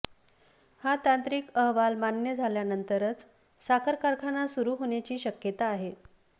हा तांत्रिक अहवाल मान्य झाल्यानंतरच साखर कारखाना सुरु होण्याची शक्यता आहे